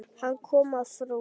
Hann kom að frú